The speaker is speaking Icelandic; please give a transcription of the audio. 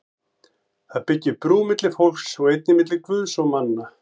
Það byggir brú milli fólks og einnig milli Guðs og manna.